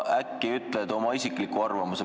Äkki ütled oma isikliku arvamuse.